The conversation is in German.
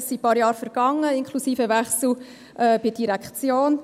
Es sind ein paar Jahre vergangen, inklusive Wechsel bei der Direktion.